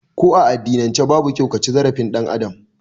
Ko a addinan ce babu kyau kaci zarafin ɗan Adam